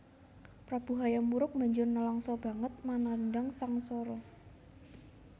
Prabu Hayam Wuruk banjur nlangsa banget manandhang sangsara